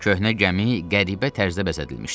Köhnə gəmi qəribə tərzdə bəzədilmişdi.